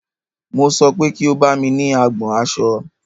Mo sọ pé kí o bámi ní agbọn aṣọ!